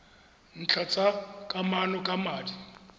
ntlha tsa kamano ka madi